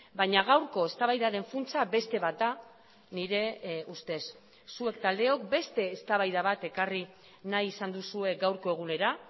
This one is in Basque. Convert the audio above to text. baina gaurko eztabaidaren funtsa beste bat da nire ustez zuek taldeok beste eztabaida bat ekarri nahi izan duzue gaurko egunera